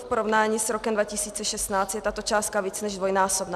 V porovnání s rokem 2016 je tato částka více než dvojnásobná.